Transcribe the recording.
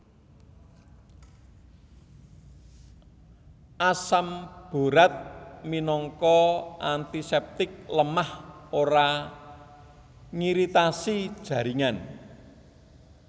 Asam Borat minangka antiseptik lemah ora ngiritasi jaringan